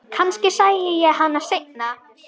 Kannski sæi ég hann seinna.